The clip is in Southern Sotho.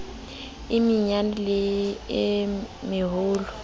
e menyane le e meholo